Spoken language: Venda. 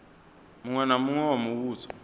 muṅwe na muṅwe wa muvhuso